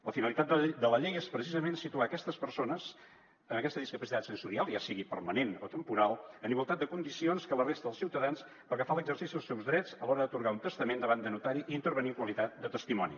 la finalitat de la llei és precisament situar aquestes persones amb aquesta discapacitat sensorial ja sigui permanent o temporal en igualtat de condicions que la resta de ciutadans pel que fa a l’exercici dels seus drets a l’hora d’atorgar el testament davant de notari i intervenir en qualitat de testimoni